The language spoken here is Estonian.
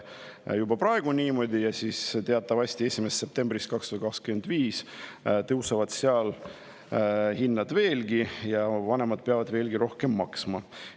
Ja teatavasti tõusevad 1. septembrist 2025 seal hinnad veelgi ja vanemad peavad veel rohkem maksma.